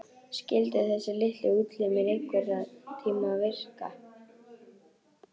Skyldu þessir litlu útlimir einhverntíma virka?